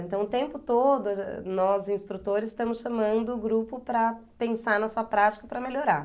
Então, o tempo todo, nós, instrutores, estamos chamando o grupo para pensar na sua prática para melhorar.